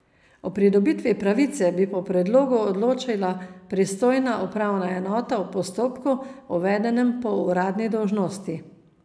O pridobitvi pravice bi po predlogu odločila pristojna upravna enota v postopku, uvedenem po uradni dolžnosti.